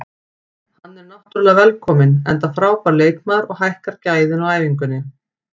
Hann er náttúrulega velkominn enda frábær leikmaður og hækkar gæðin á æfingunni.